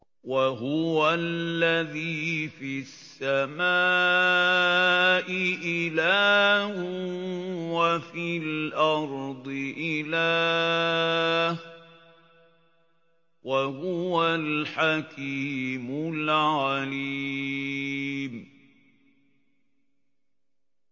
وَهُوَ الَّذِي فِي السَّمَاءِ إِلَٰهٌ وَفِي الْأَرْضِ إِلَٰهٌ ۚ وَهُوَ الْحَكِيمُ الْعَلِيمُ